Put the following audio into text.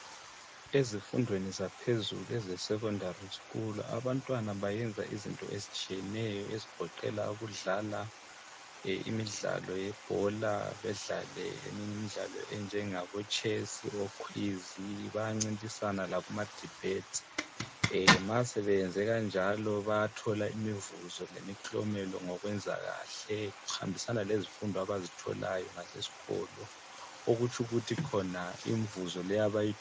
Ezifundweni zaphezulu ezesekhondary skulu abantwana bayenza izinto ezitshiyeneyo ezigoqela ukudlala, e imidlalo yebhola, bedlale eminye imidlalo enjengabotshesi, okhwizi, bayancintisana lakumadibhetsi. E ma sebeyenze kanjalo bayathola imivuzo lemiklomelo ngokwenza kahle, kuhambisana lezifundo abazitholayo ngaseskolo, okutsho ukuthi khona imvuzo le abayi.